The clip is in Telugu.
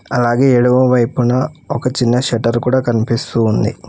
అలాగే ఎడమ వైపున ఒక చిన్న షెటర్ కూడా కనిపిస్తూ ఉంది